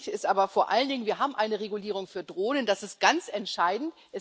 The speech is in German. Wichtig ist aber vor allen Dingen Wir haben eine Regulierung für Drohnen das ist ganz entscheidend.